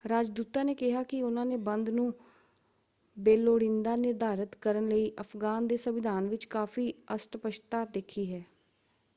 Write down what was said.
ਰਾਜਦੂਤਾਂ ਨੇ ਕਿਹਾ ਕਿ ਉਨ੍ਹਾਂ ਨੇ ਬੰਦ ਨੂੰ ਬੇਲੋੜੀਂਦਾ ਨਿਰਧਾਰਤ ਕਰਨ ਲਈ ਅਫ਼ਗਾਨ ਦੇ ਸੰਵਿਧਾਨ ਵਿੱਚ ਕਾਫ਼ੀ ਅਸਪੱਸ਼ਟਤਾ ਦੇਖੀ ਹੈ।